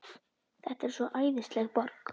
Þetta er svo æðisleg borg.